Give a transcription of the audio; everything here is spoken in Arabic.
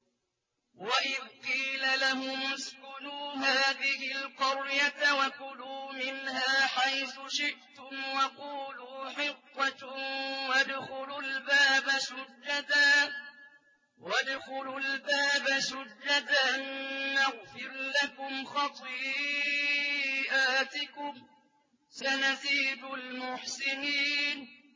وَإِذْ قِيلَ لَهُمُ اسْكُنُوا هَٰذِهِ الْقَرْيَةَ وَكُلُوا مِنْهَا حَيْثُ شِئْتُمْ وَقُولُوا حِطَّةٌ وَادْخُلُوا الْبَابَ سُجَّدًا نَّغْفِرْ لَكُمْ خَطِيئَاتِكُمْ ۚ سَنَزِيدُ الْمُحْسِنِينَ